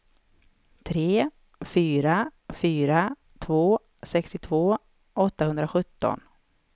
tre fyra fyra två sextiotvå åttahundrasjutton